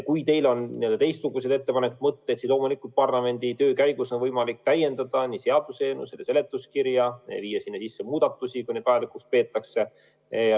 Kui teil on teistsuguseid ettepanekuid, mõtteid, siis loomulikult parlamendi töö käigus on võimalik seda seaduseelnõu täiendada, viia sinna sisse muudatusi, kui neid vajalikuks peetakse.